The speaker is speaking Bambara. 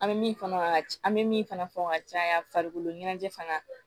An bɛ min fɔ ka an bɛ min fana fɔ ka caya farikolo ɲɛnajɛ fana